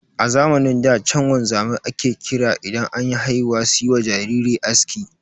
A zamanin da chan wanzamai ake kira idan anyi haihuwa suyiwa jariri aski.